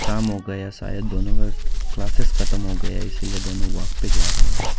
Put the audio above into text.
काम हो गया शायद दोनों का क्लासेस खतम हो गया है इसीलिए दोनों वापिस जा रहे है।